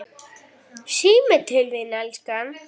Síminn til þín, elskan!